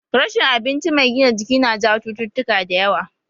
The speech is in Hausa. Rashin abinci mai gina jiki na jawo cututtuka da yawa